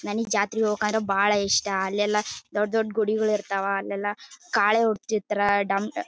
ನನಗೆ ಜಾತ್ರೆ ಹೊಕಾರ ಬಹಳ್ ಇಷ್ಟ ಅಲ್ಲೆಲ್ಲಾ ದುಡ್ಡ ದೊಡ್ಡ ಗುಡಿಗಳು ಇರತ್ತವ ಅಲ್ಲೆಲ್ಲಾ ಕಾಳೆ